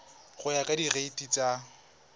go ya ka direiti tsa